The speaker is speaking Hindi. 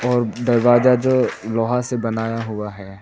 और दरवाजा जो लोहा से बनाया हुआ है।